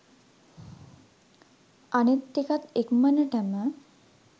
අනිත් ටිකත් ඉක්මනටම